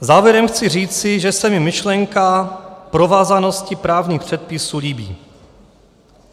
Závěrem chci říci, že se mi myšlenka provázanosti právních předpisů líbí.